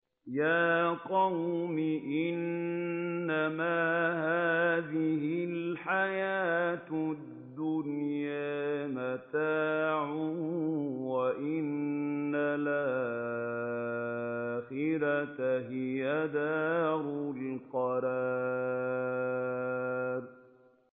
يَا قَوْمِ إِنَّمَا هَٰذِهِ الْحَيَاةُ الدُّنْيَا مَتَاعٌ وَإِنَّ الْآخِرَةَ هِيَ دَارُ الْقَرَارِ